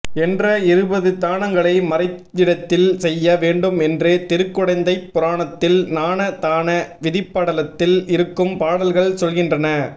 என்ற இருபது தானங்களை மறைவிடத்தில் செய்ய வேண்டும் என்று திருக்குடந்தைப் புராணத்தில் நான தான விதிப்படலத்தில் இருக்கும் பாடல்கள் சொல்கின்றன